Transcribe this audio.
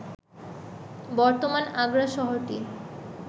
বর্তমান আগ্রা শহরটি